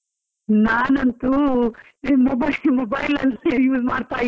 ನಾನಂತೂ ಈ mobile , mobile ಅಲ್ಲೇ use ಮಾಡ್ತಾ ಇದ್ದೀನಿ.